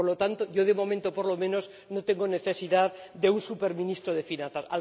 Por lo tanto, yo de momento, por lo menos, no tengo necesidad de un superministro de Finanzas